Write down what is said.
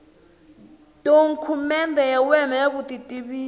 dokumende ya wena ya vutitivisi